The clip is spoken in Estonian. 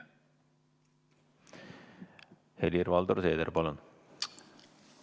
Helir-Valdor Seeder, palun!